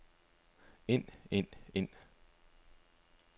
ind ind ind